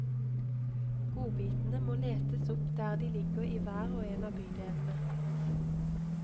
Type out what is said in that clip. Godbitene må letes opp der de ligger i hver og en av bydelene.